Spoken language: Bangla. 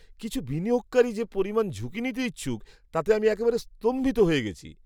কিছু বিনিয়োগকারী যে পরিমাণ ঝুঁকি নিতে ইচ্ছুক তাতে আমি একেবারে স্তম্ভিত হয়ে গেছি।